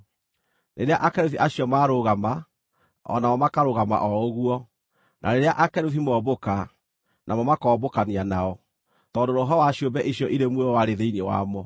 Rĩrĩa akerubi acio marũgama, o namo makarũgama o ũguo; na rĩrĩa akerubi mombũka, namo makombũkania nao, tondũ roho wa ciũmbe icio irĩ muoyo warĩ thĩinĩ wamo.